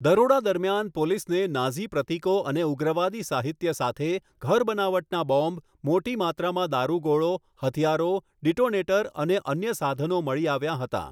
દરોડા દરમિયાન, પોલીસને નાઝી પ્રતીકો અને ઉગ્રવાદી સાહિત્ય સાથે ઘરબનાવટના બોમ્બ, મોટી માત્રામાં દારૂગોળો, હથિયારો, ડિટોનેટર અને અન્ય સાધનો મળી આવ્યાં હતાં.